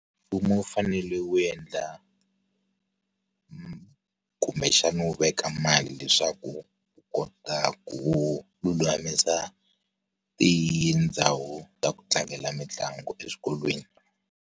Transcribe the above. Mfumo wu fanele wu endla kumbexana wu veka mali leswaku wu kota ku lulamisa, tindhawu ta ku tlangela mitlangu eswikolweni.